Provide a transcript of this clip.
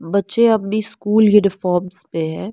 बच्चे अपनी school uniforms में हैं।